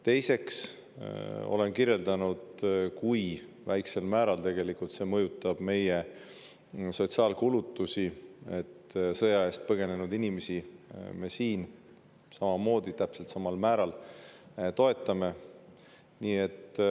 Teiseks olen kirjeldanud, kui väiksel määral mõjutab meie sotsiaalkulutusi see, et me sõja eest põgenenud inimesi siin täpselt samal määral toetame.